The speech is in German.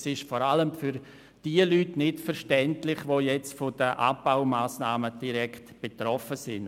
Es ist vor allem für die Leute nicht verständlich, die von den Abbaumassnahmen direkt betroffen sind.